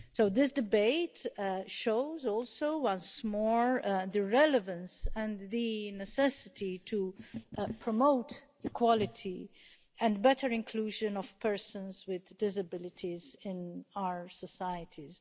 This debate also shows once more the relevance and the necessity to promote equality and better inclusion of persons with disabilities in our societies.